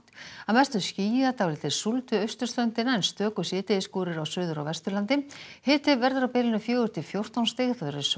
að mestu skýjað dálítil súld við austurströndina en stöku síðdegisskúrir á Suður og Vesturlandi hiti verður á bilinu fjögur til fjórtán stig